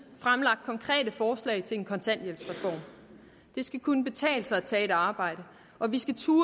fremlagt konkrete forslag til en kontanthjælpsreform det skal kunne betale sig at tage et arbejde og vi skal turde